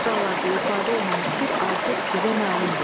Bu misralarda ifadə olunan fikir artıq sizə məlumdur.